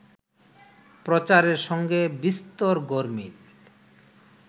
প্রচারের সঙ্গে বিস্তর গরমিল